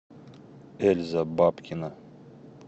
эльза бабкина